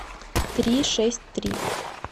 три шесть три